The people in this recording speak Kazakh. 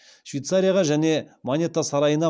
швейцарияға және монета сарайына